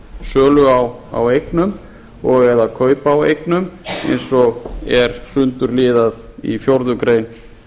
um sölu á eignum og eða kaup á eignum eins og er sundurliðað í fjórða grein